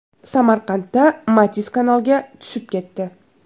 Samarqandda Matiz kanalga tushib ketdi.